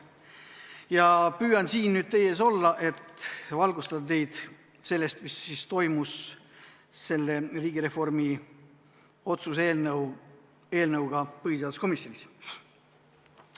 Ma püüan siin teie ees olla, et valgustada teid sellest, mis toimus riigireformi otsuse eelnõuga põhiseaduskomisjonis.